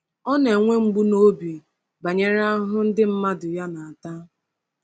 Ọ na-enwe mgbu n’obi banyere ahụhụ ndị mmadụ ya na-ata.